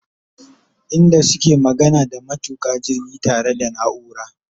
inda suke magana da maintuka jirgi ta re da naura